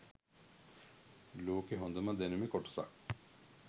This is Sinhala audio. ලෝකෙ හොඳම දැනුමෙ කොටසක්